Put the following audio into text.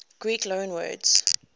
greek loanwords